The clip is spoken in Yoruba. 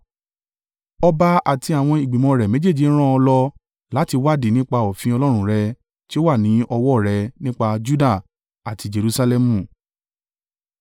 Ọba àti àwọn ìgbìmọ̀ rẹ̀ méjèèje rán ọ lọ láti wádìí nípa òfin Ọlọ́run rẹ tí ó wà ní ọwọ́ rẹ nípa Juda àti Jerusalẹmu.